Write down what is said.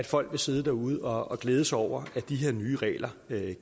folk sidde derude og glæde sig over at de her nye regler